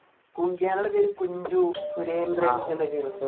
കുങ്കിയാനയുടെ പേര് കുഞ്ചു സുരേന്ദ്രൻ എന്നൊക്കെ ആയിരുന്നു